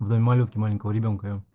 в доме малютки маленького ребёнка я